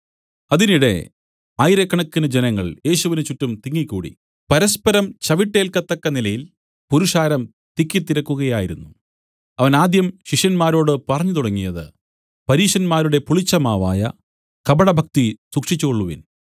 അതിനിടെ ആയിരക്കണക്കിന് ജനങ്ങൾ യേശുവിന് ചുറ്റും തിങ്ങി കൂടി പരസ്പരം ചവിട്ടേൽക്കത്തക്ക നിലയിൽ പുരുഷാരം തിക്കിത്തിരക്കുകയായിരുന്നു അവൻ ആദ്യം ശിഷ്യന്മാരോട് പറഞ്ഞു തുടങ്ങിയത് പരീശരുടെ പുളിച്ചമാവായ കപടഭക്തി സൂക്ഷിച്ചുകൊള്ളുവിൻ